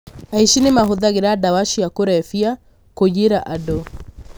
Aici nĩmahũthagĩra ndawa cia kũrebia kũiyĩra andũ.